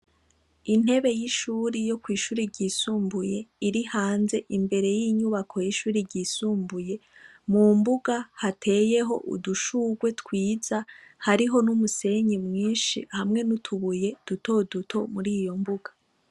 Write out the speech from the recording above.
Intebe y'ishuri yo kw'ishuri ryisumbuye iri hanze imbere y'inyubako y'ishuri ryisumbuye mu mbuga hateyeho udushurwe twiza hariho n'umusenyi mwinshi hamwe n'utubuye dutoduto muri iyo mbuga.